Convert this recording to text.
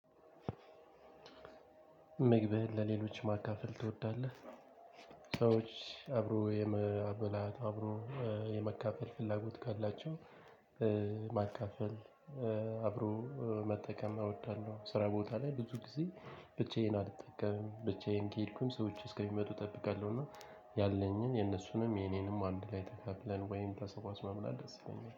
ምግብህን ለሌሎች ማካፈል ትወዳለህ? ጥሩ እሺ አብሮ የመብላት አብሮ የመካፈል ፍላጎት ካላችሁ ማካፈል አብሮ መጠቀም እወዳለሁ ስራ ቦታ ላይ ሁልጊዜ ብቻዬን አልጠቀምም ብቻዬን ከሄድኩኝ ሰዎች እስኪመጡ እጠብቃለሁና ያለኝን የነሱንም የኔንም አንድ ላይ ተካፍለን ወይም ተሰባስበን መብላት ደስ ይለኛል